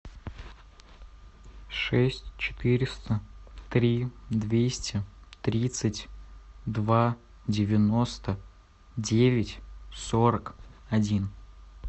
шесть четыреста три двести тридцать два девяносто девять сорок один